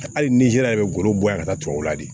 Hali nizeriya bɛ goro bɔya ka taa tuwawula de